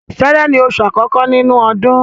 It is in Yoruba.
Sẹẹrẹ ni oṣù àkọ́kọ́ nínú ọdún.